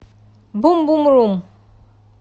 бум бум рум